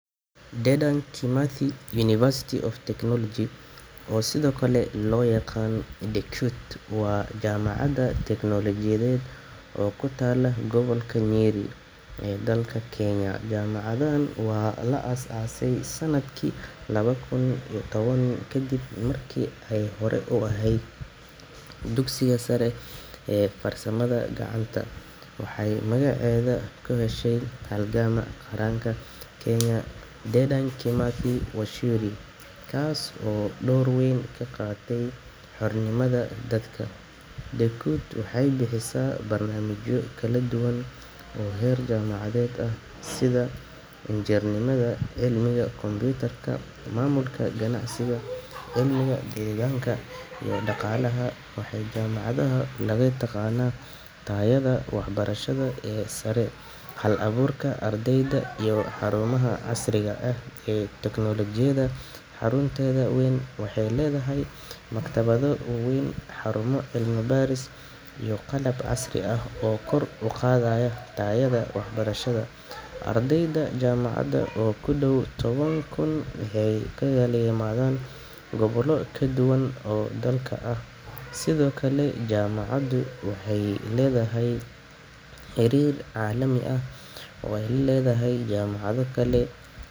Dedan Kimathi University of Technology, oo sidoo kale loo yaqaan DeKUT, waa jaamacad tiknoolajiyadeed oo ku taalla gobolka Nyeri ee dalka Kenya. Jaamacaddan waxaa la aasaasay sanadkii laba kun iyo toban kadib markii ay horay u ahayd dugsiga sare ee farsamada gacanta. Waxay magaceeda ka heshay halgamaa qaranka Kenya ee Dedan Kimathi Waciuri, kaas oo door weyn ka qaatay xornimada dalka. DeKUT waxay bixisaa barnaamijyo kala duwan oo heer jaamacadeed ah sida injineernimada, cilmiga kombuyuutarka, maamulka ganacsiga, cilmiga deegaanka, iyo dhaqaalaha. Waxaa jaamacaddan lagu yaqaanaa tayada waxbarasho ee sare, hal-abuurka ardayda, iyo xarumaha casriga ah ee tiknoolajiyadda. Xarunteeda wayn waxay leedahay maktabado waaweyn, xarumo cilmi-baaris, iyo qalab casri ah oo kor u qaadaya tayada waxbarashada. Ardayda jaamacadda oo ku dhow toban kun waxay ka kala yimaadaan gobollo kala duwan oo dalka ah. Sidoo kale, jaamacaddu waxay leedahay xiriir caalami ah oo ay la leedahay jaamacado kale.